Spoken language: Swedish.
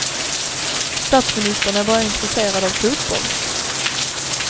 Statsministern är bara intresserad av fotboll.